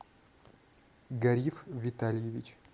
гариф витальевич